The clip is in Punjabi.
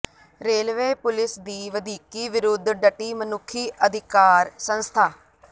ਰੇਲਵੇ ਪੁਲੀਸ ਦੀ ਵਧੀਕੀ ਵਿਰੁੱਧ ਡਟੀ ਮਨੁੱਖੀ ਅਧਿਕਾਰ ਸੰਸਥਾ